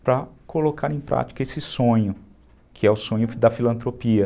para colocar em prática esse sonho, que é o sonho da filantropia.